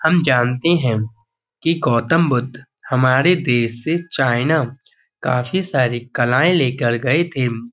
हम जानते हैं कि गौतम बुद्ध हमारे देश से चाइना काफी सारी कलाएं लेकर गए थे।